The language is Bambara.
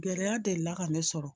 Gɛlɛya delila ka ne sɔrɔ